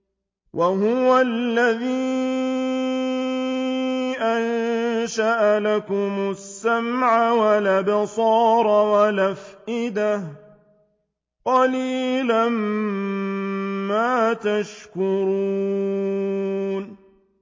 وَهُوَ الَّذِي أَنشَأَ لَكُمُ السَّمْعَ وَالْأَبْصَارَ وَالْأَفْئِدَةَ ۚ قَلِيلًا مَّا تَشْكُرُونَ